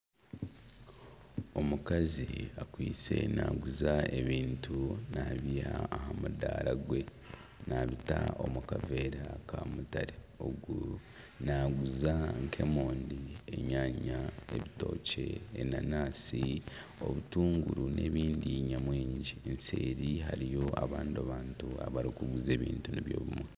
Omukazi akwaitse naaguza ebintu nabyiha aha mudaara gwe naabita omu kaveera ka mutare ogu naaguza nk'emondi, enyanya, ebitookye, enanansi, obutuunguru n'ebindi nyamwingi obuseeri hariyo abandi bantu abarikuguza ebintu nibyo bimwe.